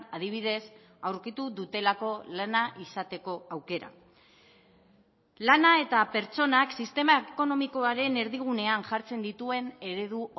adibidez aurkitu dutelako lana izateko aukera lana eta pertsonak sistema ekonomikoaren erdigunean jartzen dituen eredu